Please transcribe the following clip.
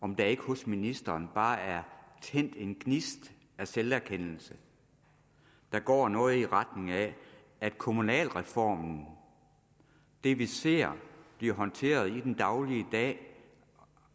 om der ikke hos ministeren bare er tændt en gnist af selverkendelse der går noget i retning af at kommunalreformen det vi ser blive håndteret i det daglige